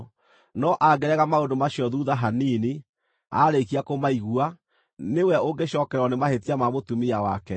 No angĩrega maũndũ macio thuutha hanini, aarĩkia kũmaigua, nĩwe ũngĩcookererwo nĩ mahĩtia ma mũtumia wake.”